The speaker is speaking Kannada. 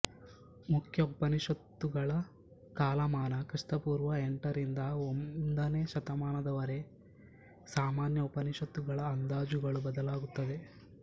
ಮುಖ್ಯ ಉಪನಿಷತ್ತುಗಳ ಕಾಲಮಾನ ಕ್ರಿ ಪೂ ಎಂಟರಿಂದ ಒಂದನೇ ಶತಮಾನವಾದರೆ ಸಾಮಾನ್ಯ ಉಪನಿಷತ್ತುಗಳ ಅಂದಾಜುಗಳು ಬದಲಾಗುತ್ತವೆ